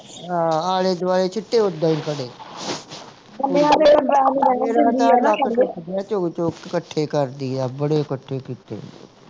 ਹਾਂ ਆਲੇ ਦੁਆਲੇ ਛਿਟੇ ਉੱਦਾਂ ਹੀ ਖੜੇ ਚੁੱਗ ਚੁੱਗ ਕੇ ਕੱਠੇ ਕਰਦੀ ਆ ਬੜੇ ਕੱਠੇ ਕੀਤੇ